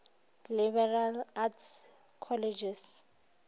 liberal arts colleges